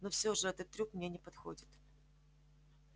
но всё же этот трюк мне не подходит